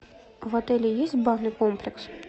в отеле есть барный комплекс